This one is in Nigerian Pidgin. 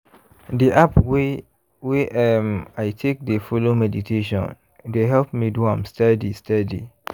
di app wey wey um i take dey follow meditation dey help me do am steady steady.